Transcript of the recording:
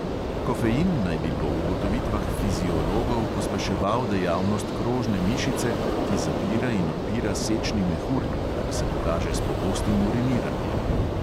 Kofein naj bi po ugotovitvah fiziologov pospeševal dejavnost krožne mišice, ki zapira in odpira sečni mehur, kar se pokaže s pogostim uriniranjem.